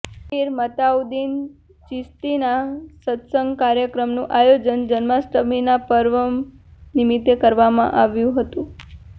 પીર મતાઉદ્દીન ચિશ્તીના સત્સંગ કાર્યક્રમનું આયોજન જન્માષ્ટમીના પર્વ નિમિત્તે કરવામાં આવ્યું હતું